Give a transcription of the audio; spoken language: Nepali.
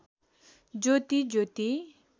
ज्योति ज्योति